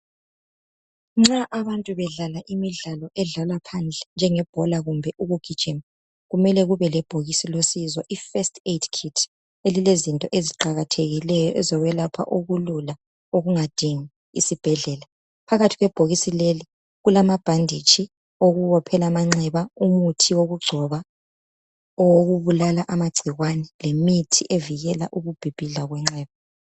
Nxa abantu bedlala imidlalo edlalwa phandle njengebhola kumbe ukugijima kumele kube lebhokisi losizo i”first aid kit” elilezinto eziqakathekileyo ezokwelapha okulula okungadingi isibhedlela. Phakathi kwebhokisi leli kulamabhanditshi okubophela amanxeba , umuthi wokugcoba, owokubulala amagcikwane lemithi evikela ukubhibhidla kwenxeba.